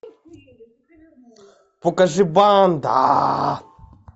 покажи банда